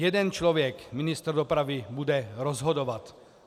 Jeden člověk, ministr dopravy, bude rozhodovat.